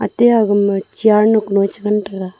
atai ga ma chair nu ku ngan taiga.